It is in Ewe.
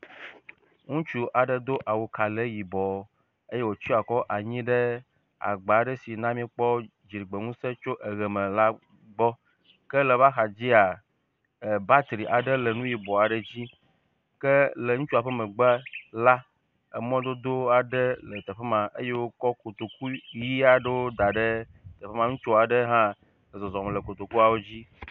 Ŋutsu aɖe do awukalɛ yibɔ eye wòtsɔ akɔ anyi ɖe agba aɖe si na míkpɔ dziɖegbeŋusẽ tso ʋe me la gbɔ ke le eƒe axadzia batri aɖe le nu yibɔ aɖe dzi ke le ŋutsua ƒe megbe la emɔdodo aɖe le teƒe ma eye wokɔ kotoku ʋi aɖe da ɖe teƒe ma, ŋutsu aɖe hã le zɔzɔm le kotokuawo dzi.